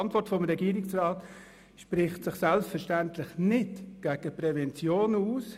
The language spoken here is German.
Die Antwort des Regierungsrats spricht sich selbstverständlich nicht gegen Prävention aus.